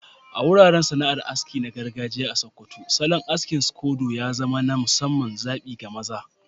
A wuraren sana'ar aski na gargajiya a Sokoto, salon aski na scodo ya zama na musamman zabi ga maza.